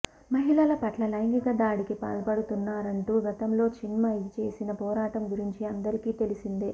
మహిళల పట్ల లైంగిక దాడికి పాల్పడుతున్నారంటూ గతంలో చిన్మయి చేసిన పోరాటం గురించి అందరికీ తెలిసిందే